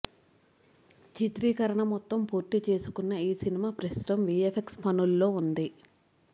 చిత్రీకరణ మొత్తం పూర్తిచేసుకున్న ఈ సినిమా ప్రస్తుతం విఎఫ్ఎక్స్ పనుల్లో ఉంది